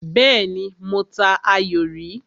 Bẹ́ẹ́nì, mo ta ayò rí.